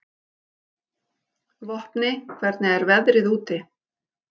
Vopni, hvernig er veðrið úti?